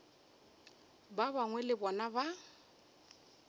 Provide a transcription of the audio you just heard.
ba bangwe le bona ba